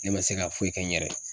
Ne ma se ka foyi kɛ n yɛrɛ ye.